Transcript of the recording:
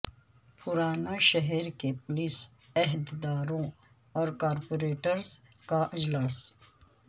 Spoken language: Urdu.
پرانا شہر کے پولیس عہدیداروں اور کارپوریٹرس کا اجلاس